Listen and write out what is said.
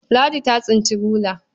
Ladi ta tsinci rula.